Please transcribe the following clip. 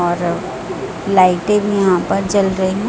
और लाइटें भी यहां पर जल रही हैं।